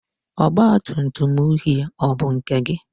ọgbatumtum uhie ọ bụ nke gị?